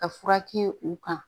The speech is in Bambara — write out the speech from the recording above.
Ka fura kɛ u kan